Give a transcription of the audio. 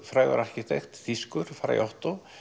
frægur arkitekt þýskur Frei Otto